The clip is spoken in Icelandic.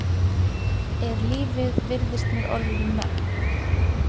Er lífið virðist mér orðið um megn.